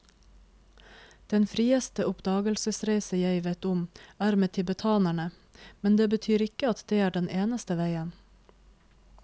Den frieste oppdagelsesreise jeg vet om er med tibetanerne, men det betyr ikke at det er den eneste veien.